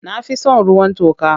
Na fi son ruwan toka.